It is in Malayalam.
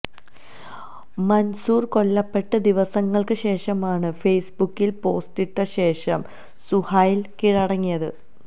മൻസൂർ കൊല്ലപ്പെട്ട് ദിവസങ്ങൾക്ക് ശേഷമാണ് ഫേസ്ബുക്കിൽ പോസ്റ്റിട്ട ശേഷം സുഹൈൽ കീഴടങ്ങിയത്